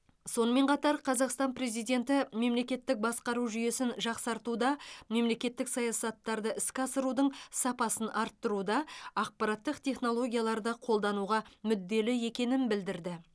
сонымен қатар қазақстан президенті мемлекеттік басқару жүйесін жақсартуда мемлекеттік саясаттарды іске асырудың сапасын арттыруда ақпараттық технологияларды қолдануға мүдделі екенін білдірді